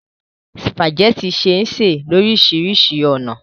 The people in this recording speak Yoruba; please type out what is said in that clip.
Sùpàgẹ́tì ṣé sè lóríṣiríṣi ọ̀nà.